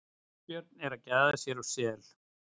Hvítabjörn að gæða sér á sel.